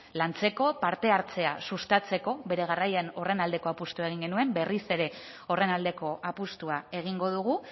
lantzeko parte hartzea sustatzeko bere garaian horren aldeko apustua egin genuen berriz ere horren aldeko apustua egingo dugu